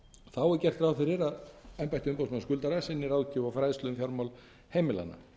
þá er gert ráð fyrir að embætti umboðsmanns skuldara sinni ráðgjöf og fræðslu um fjármál heimilanna